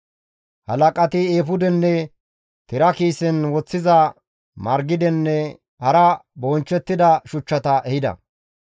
Halaqati eefudenne tira kiisen woththiza margidenne hara bonchchettida shuchchata ehida.